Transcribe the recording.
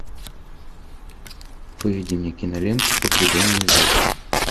выведи мне киноленту погребенные заживо